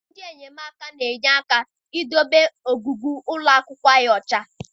Ndị enyemaka na-enye aka idobe ogige ụlọ akwụkwọ ọcha.